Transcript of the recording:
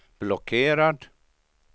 blockerad